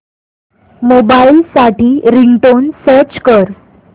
mobile साठी ringtone search कर